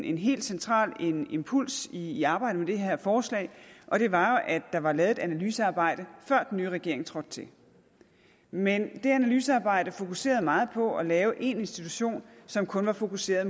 en helt central impuls i arbejdet med det her forslag og det var at der jo var lavet et analysearbejde før den nye regering trådte til men det analysearbejde fokuserede meget på at lave én institution som kun var fokuseret